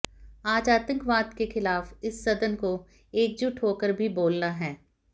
आज आतंकवाद के खिलाफ इस सदन को एकजुट होकर भी बोलना है